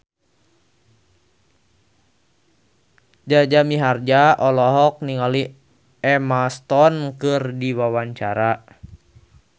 Jaja Mihardja olohok ningali Emma Stone keur diwawancara